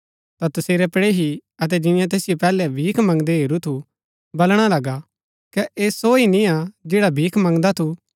ता तसेरै पड़ेही अतै जियें तैसिओ पैहलै भीख मंगदै हेरू थू बलणा लगै कै ऐह सो हि निय्आ जैडा भीख मंगदा थू